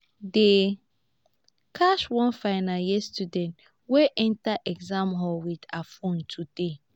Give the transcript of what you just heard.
dey catch one final year student wey enter exam hall with her phone today